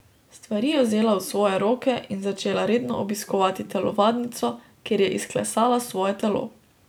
Stvari je vzela v svoje roke in začela redno obiskovati telovadnico, kjer je izklesala svoje telo.